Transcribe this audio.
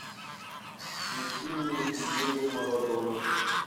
включи мне диего марадона